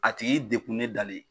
A tigi dekunnen dalen